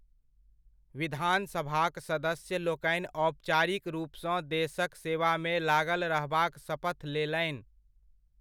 विधानसभाक सदस्य लोकनि औपचारिक रूपसँ देशक सेवामे लागल रहबाक सपथ लेलनि।